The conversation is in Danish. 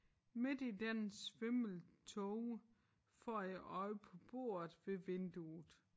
Midt i den svimle tåge får jeg øje på bordet ved vinduet